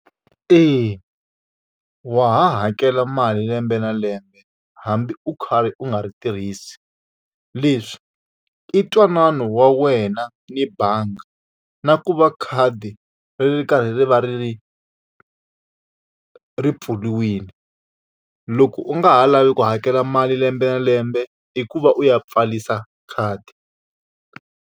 Eya wa ha hakela mali lembe na lembe hambi u kha ri u nga ri tirhisi. Leswi i ntwanano wa wena ni bangi, na ku va khadi ri ri karhi ri va ri ri ri pfuriwile. Loko u nga ha lavi ku hakela mali lembe na lembe, i ku va u ya pfarisa khadi.